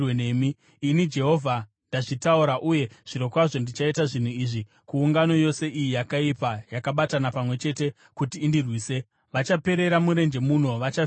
Ini, Jehovha, ndazvitaura, uye zvirokwazvo ndichaita zvinhu izvi kuungano yose iyi yakaipa, yakabatana pamwe chete kuti indirwise. Vachaperera murenje muno; vachafira muno.”